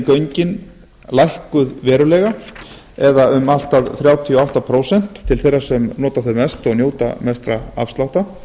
göngin lækkuð verulega eða um allt að þrjátíu og átta prósent til þeirra sem nota þau mest og njóta mestra afslátta